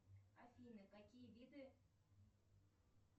афина какие виды